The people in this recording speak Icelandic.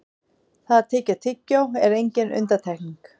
það að tyggja tyggjó er engin undantekning